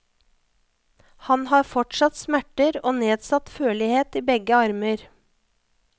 Han har fortsatt smerter og nedsatt førlighet i begge armer.